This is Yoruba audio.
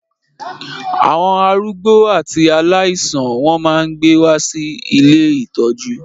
Àwọn arúgbó àti aláìsàn wọ́n máa gbé wá sí ilé ìtọ́jú.